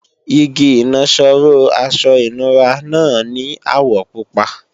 Igi ìnaṣọró aṣọ ìnura náà ní àwọ̀ pupa